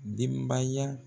Denbaya